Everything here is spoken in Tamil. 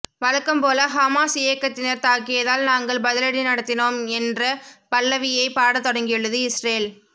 வழக்கம் போல ஹமாஸ் இயக்கத்தினர் தாக்கியதால் நாங்கள் பதிலடி நடத்தினோம் என்ற பல்லவியைப் பாடத் தொடங்கியுள்ளது இஸ்ரேல்ல்